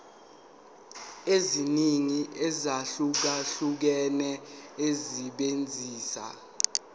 eziningi ezahlukahlukene esebenzisa